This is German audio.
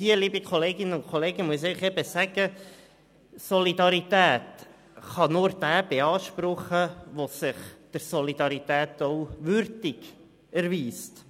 Liebe Kolleginnen und Kollegen, Solidarität kann nur derjenige beanspruchen, der sich der Solidarität auch würdig erweist.